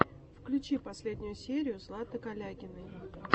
включи последнюю серию златы калягиной